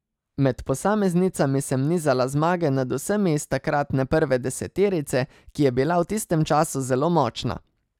Med posameznicami sem nizala zmage nad vsemi iz takratne prve deseterice, ki je bila v tistem času zelo močna.